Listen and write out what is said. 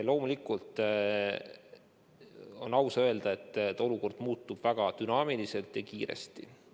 Loomulikult on aus öelda, et olukord muutub väga dünaamiliselt ja kiiresti.